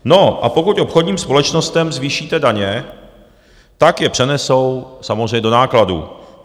No, a pokud obchodním společnostem zvýšíte daně, tak je přenesou samozřejmě do nákladů.